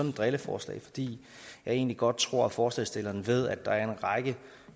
et drilleforslag fordi jeg egentlig godt tror at forslagsstillerne ved at der er en række